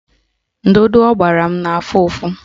Ndụdụ ọ gbara m na-afụ ụfụ